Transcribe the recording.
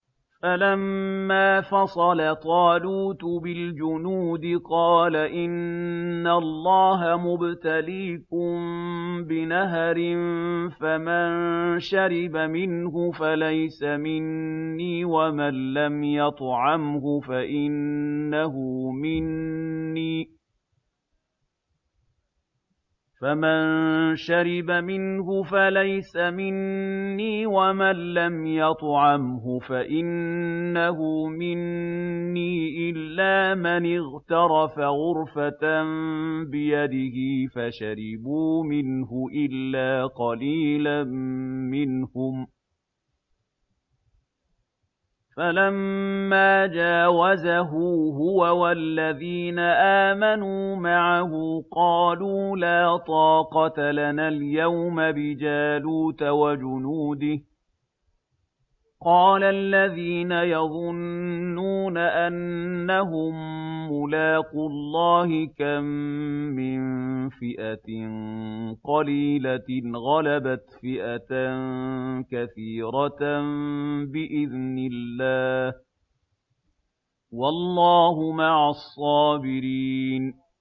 فَلَمَّا فَصَلَ طَالُوتُ بِالْجُنُودِ قَالَ إِنَّ اللَّهَ مُبْتَلِيكُم بِنَهَرٍ فَمَن شَرِبَ مِنْهُ فَلَيْسَ مِنِّي وَمَن لَّمْ يَطْعَمْهُ فَإِنَّهُ مِنِّي إِلَّا مَنِ اغْتَرَفَ غُرْفَةً بِيَدِهِ ۚ فَشَرِبُوا مِنْهُ إِلَّا قَلِيلًا مِّنْهُمْ ۚ فَلَمَّا جَاوَزَهُ هُوَ وَالَّذِينَ آمَنُوا مَعَهُ قَالُوا لَا طَاقَةَ لَنَا الْيَوْمَ بِجَالُوتَ وَجُنُودِهِ ۚ قَالَ الَّذِينَ يَظُنُّونَ أَنَّهُم مُّلَاقُو اللَّهِ كَم مِّن فِئَةٍ قَلِيلَةٍ غَلَبَتْ فِئَةً كَثِيرَةً بِإِذْنِ اللَّهِ ۗ وَاللَّهُ مَعَ الصَّابِرِينَ